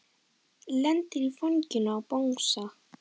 Lendir í fanginu á bangsa.